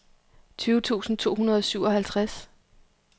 tyve tusind to hundrede og syvoghalvtreds